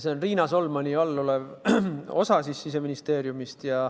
See on Riina Solmani vastutusalas olev osa Siseministeeriumist.